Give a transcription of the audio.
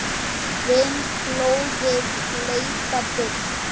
Finnst blóðið leita burt.